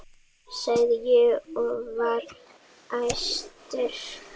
sagði ég og var æstur.